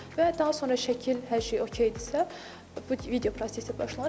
Və daha sonra şəkil hər şey okdirsə, bu video prosesi başlanır.